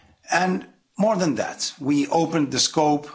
And more than that, we opened the scope.